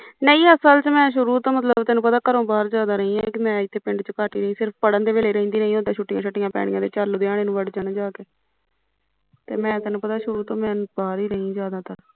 ਨੀ ਅਸਲ ਚ ਮੈਂ ਸ਼ੁਰੂ ਤੋਂ ਤੇਨੂੰ ਪਤਾ ਘਰੋਂ ਬਾਹਰ ਜਿਆਦਾ ਰਹੀ ਮੈਂ ਪਿੰਡ ਚ ਇੱਥੇ ਘੱਟ ਈ ਰਹੀ ਸਿਰਫ਼ ਪੜਨ ਦੇ ਵੇਲੇ ਰਹਿੰਦੀ ਰਹੀ ਜਦ ਛੁੱਟੀਆ ਛੁੱਟੀਆਂ ਪੈਨੀਆ ਤੇ ਚੱਲ ਲੁਧਿਆਣੇ ਵੜ ਜਾਣਾ ਜਾਂ ਕੇ ਤੇ ਮੈਂ ਤੇਨੂੰ ਪਤਾ ਸ਼ੁਰੂ ਤੋਂ ਬਾਹਰ ਈ ਰਹੀ ਜਿਆਦਾਤਰ